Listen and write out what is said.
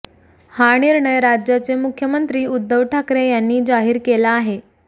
हा निर्णय राज्याचे मुख्यमंत्री उद्धव ठाकरे यांनी जाहिर केला आहे